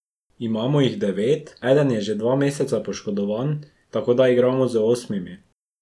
Imamo jih devet, eden je že dva meseca poškodovan, tako da igramo z osmimi.